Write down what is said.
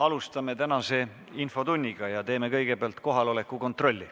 Alustame tänast infotundi ja teeme kõigepealt kohaloleku kontrolli.